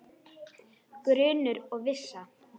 Grunur og vissa